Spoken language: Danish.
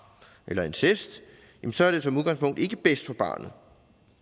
eller incest så er det som udgangspunkt ikke bedst for barnet